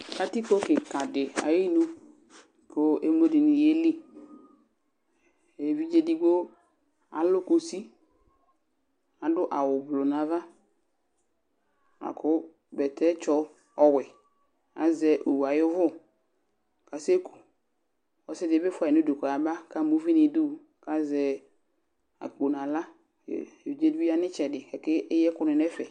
katikpo keka di ayinu ko emlo di ni yeli evidze edigbo alo kusi ko ado awu gblo no ava lako bɛtɛ tsɔ ɔwɛ azɛ owu ayi òvò ko asɛ ku ɔse di bi fuayi no udu ko ɔyaba ko ama uvi no idu ko azɛ akpo no ala ko evidze di bi ya no itsɛdi ko akeyi ɛko ni no ɛfɛ